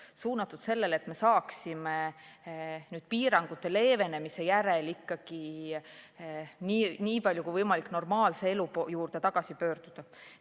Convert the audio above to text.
See on suunatud sellele, et me saaksime piirangute leevendamise järel ikkagi nii palju kui võimalik normaalse elu juurde tagasi pöörduda.